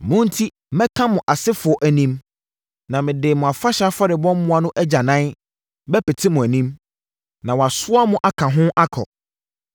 Mo enti mɛka mo asefoɔ anim, na mede mo afahyɛ afɔrebɔ mmoa no agyanan bɛpete mo anim, na wɔasoa mo aka ho akɔ.